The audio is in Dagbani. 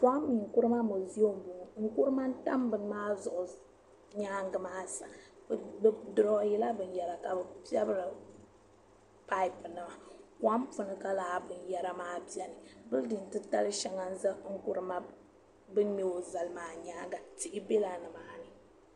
Kwame Nkurumah mezion m bɔŋɔ n kurima n-tam bini maa zuɣu nyaaŋgi maa sa bi duroin yila bin yara ka bi pɛbra paapu nima kom puni ka laa bin yara maa beni. bilidin ti tali shɛŋa n-za n kurima. bin meo zali maa nyaaŋa tihi bela dini.